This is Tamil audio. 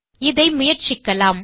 இதை முயற்சிக்கலாம்